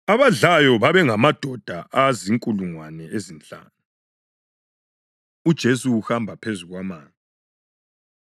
Abadlayo babengamadoda azinkulungwane ezinhlanu. UJesu Uhamba Phezu Kwamanzi